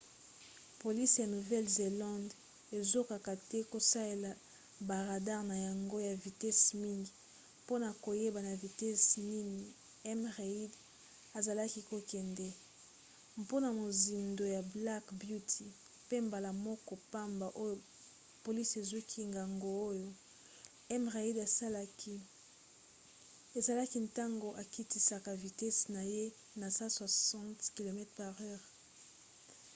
polisi ya nouvelle-zelande ezokoka te kosalela ba radare na yango ya vitesi mingi mpona koyeba na vitese nini m. reid azalaki kokende mpona mozindo ya black beauty pe mbala moko pamba oyo polisi ezwaki ngonga oyo m. reid asalaki ezalaki ntango akitisaka vitese na ye na 160 km/h